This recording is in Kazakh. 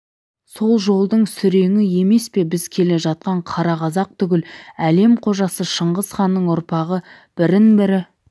сол жолдың сүреңі емес пе біз келе жатқан қара қазақ түгіл әлем қожасы шыңғысханның ұрпағы бірін-бірі